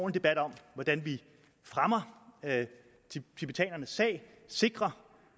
debat om hvordan vi fremmer tibetanernes sag og sikrer